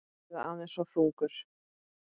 Eða aðeins of þungur?